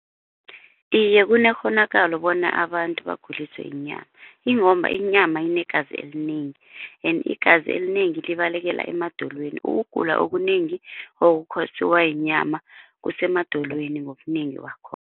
Iye kunekghonakalo bona abantu baguliswe yinyama ingomba inyama inegazi elinengi and igazi elinengi libalekela emadolweni ukugula okunengi okukhosiwa yinyama kusemadolweni ngobunengi wakho.